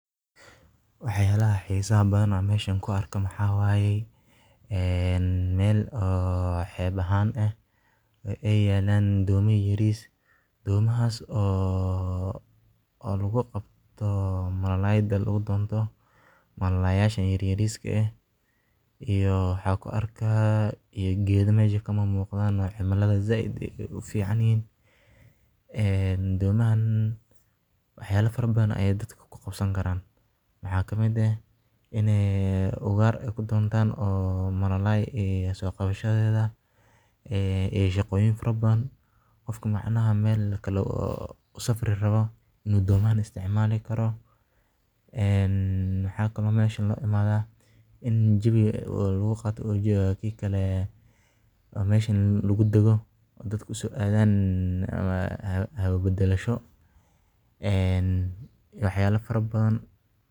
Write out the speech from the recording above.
Waxyalaha xisaha badan an mesha ku arkaya maxaa waye ee meel xeb ahan eh ee yalan malalay yaris eh oo hata daqtarinta marki aad xanunsato kudahayin malalay soqabashadeda qofka marku meel usafri rabo in ee dadka uso adhan hawo badalasho.